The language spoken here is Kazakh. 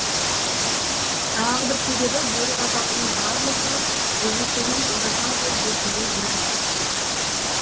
тағы бір себебі бөрік атаулының барлығы гугуцэнің орасан зор бөркіне бірігіп кетіпті